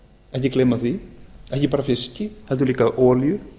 ekki gleyma því ekki bara fiski heldur líka olíu